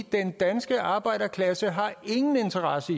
den danske arbejderklasse ingen interesse